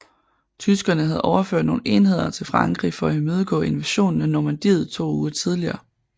Tyskerne havde overført nogle enheder til Frankrig for at imødegå invasionen i Normandiet to uger tidligere